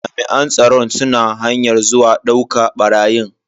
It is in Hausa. Jami'an tsaron suna hanyar zuwa dauka barayin.